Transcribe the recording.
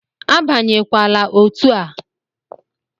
Abanyekwala otu a!